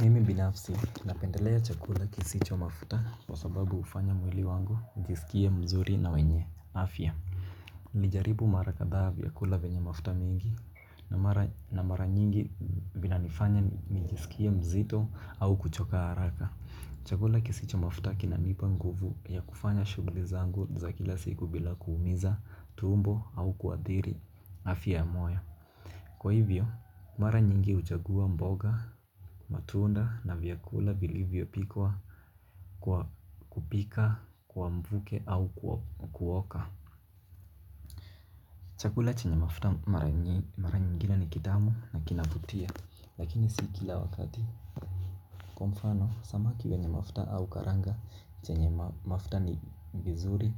Mimi binafsi napendelea chakula kisicho mafuta kwa sababu hufanya mwili wangu ujisikie mzuri na wenye afya. Nijaribu mara kadhaa vyakula venye mafuta mingi. Na mara nyingi vinanifanya nijisikie mzito au kuchoka haraka. Chakula kisicho mafuta kinanipa nguvu ya kufanya shughuli zangu za kila siku bila kuumiza tumbo au kuadhiri afya ya moyo. Kwa hivyo, mara nyingi huchagua mboga, matunda na vyakula vilivyopikwa kwa kupika, kwa mvuke au kuoka. Chakula chenye mafuta mara nyingine ni kitamu na kinavutia. Lakini si kila wakati. Kwa mfano, samaki wenye mafuta au karanga chenye mafuta ni vizuri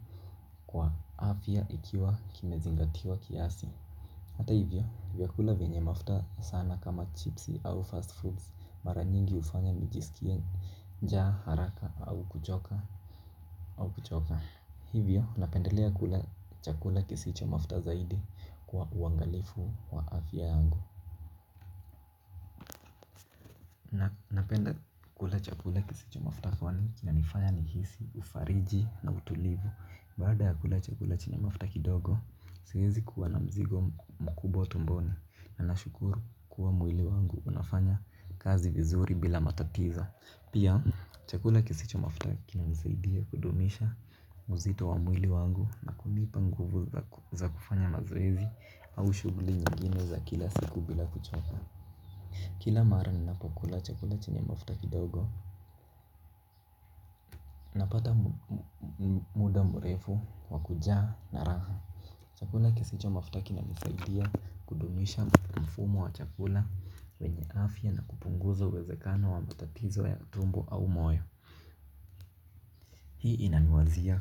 kwa afya ikiwa kimezingatiwa kiasi hata hivyo vyakula vyenye mafta sana kama chipsi au fast foods mara nyingi hufanya nijisikie njaa haraka au kuchoka. Hivyo napendelea kula chakula kisicho mafta zaidi kwa uangalifu wa afya yangu. Napenda kula chakula kisicho mafuta kwani kinanifanya nihisi, ufariji na utulivu. Baada ya kula chakula chenye mafuta kidogo, siwezi kuwa na mzigo mkubwa tumboni. Na nashukuru kuwa mwili wangu unafanya kazi vizuri bila matatiza. Pia, chakula kisicho mafuta kinanisaidia kudumisha uzito wa mwili wangu. Na kunipa nguvu za kufanya mazoezi au shughuli nyingine za kila siku bila kuchoka. Kila mara ninapokula chakula chenye mafuta kidogo, napata muda mrefu, wa kujaa na raha. Chakula kisicho mafuta kinanisaidia kudumisha mfumo wa chakula wenye afya na kupunguza uwezekano wa matatizo ya tumbo au moyo. Hii inaniwazia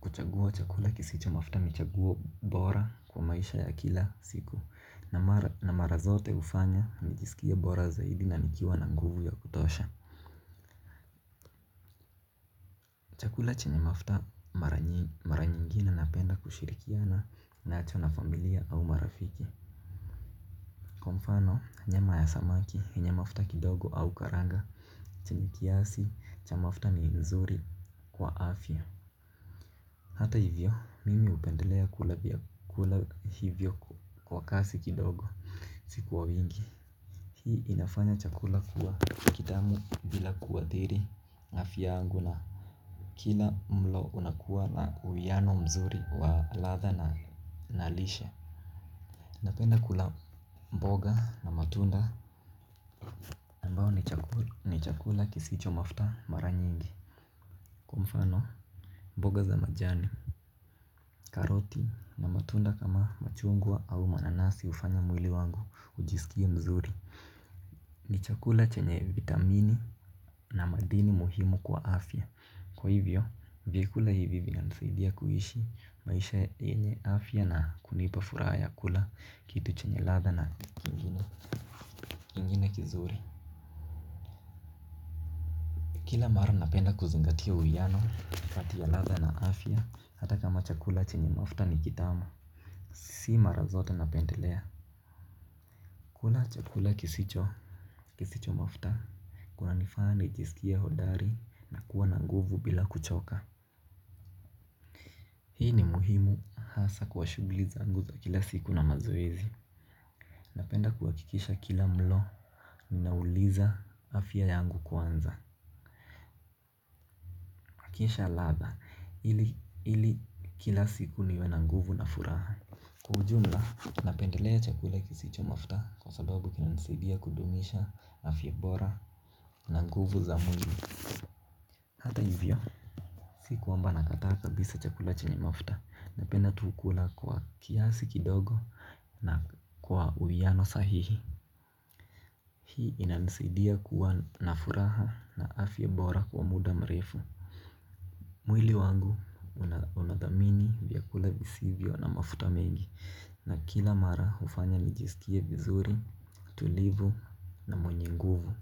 kuchagua chakula kisicho mafuta ni chagua bora kwa maisha ya kila siku. Na mara zote hufanya, nijisikie bora zaidi na nikiwa na nguvu ya kutosha. Chakula chenye mafta mara nyingine napenda kushirikiana nacho na familia au marafiki. Kwa mfano nyama ya samaki yenye mafta kidogo au karanga. Chenye kiasi cha mafta ni mzuri kwa afya. Hata hivyo mimi hupendelea kula vya kula hivyo kwa kasi kidogo. Si kwa wingi. Hii inafanya chakula kuwa kitamu bila kuathiri afya yangu na kila mlo unakuwa na uwiano mzuri wa ladha na nalishe. Napenda kula mboga na matunda ambayo ni chakula kisicho mafta mara nyingi. Kwa mfano mboga za majani, karoti na matunda kama machungwa au mananasi hufanya mwili wangu kujisikia mzuri. Ni chakula chenye vitamini na madini muhimu kwa afya. Kwa hivyo, vyakula hivi vinanisaidia kuishi maisha yenye afya na kunipa furaha ya kula kitu chenye ladha na kizuri. Kila mara napenda kuzingatia uyano kati ya ladha na afya hata kama chakula chenye mafta ni kitamu. Si mara zote napendelea. Kula chakula kisicho kisicho mafta, kunanifanya nijisikie hodari na kuwa na nguvu bila kuchoka. Hii ni muhimu hasa kwa shughuli zangu za kila siku na mazoezi. Napenda kuhakikisha kila mlo, ninauliza afya yangu kwanza. Kikisha latha, ili kila siku niwe nanguvu na furaha. Kwa ujumla, napendelea chakula kisicho mafta kwa sababu kinanisaidia kudumisha, afya bora, na na nguvu za mwili. Si kwamba nakataa kabisa chakula chenye mafta. Napenda tu kukula kwa kiasi kidogo na kwa uiano sahihi. Hii inanisidia kuwa na furaha na afya bora kwa muda mrefu. Mwili wangu unadhamini vyakula visivyo na mafuta mengi. Na kila mara hufanya nijisikie vizuri, tulivu na mwenye nguvu.